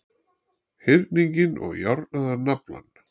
hyrninginn og járnaðan naflann.